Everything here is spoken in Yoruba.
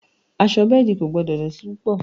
Aṣọ bẹ́ẹ̀dì kò gbọ́dọ̀ dọ̀tí púpọ̀